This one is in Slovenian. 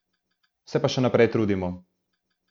Se pa še naprej trudimo.